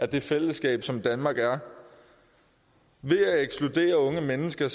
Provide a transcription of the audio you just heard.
det fællesskab som danmark er ved at ekskludere unge mennesker